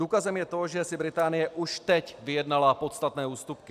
Důkazem je to, že si Británie už teď vyjednala podstatné ústupky.